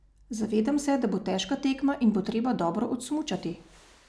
Zavedam se, da bo težka tekma, in bo treba dobro odsmučati.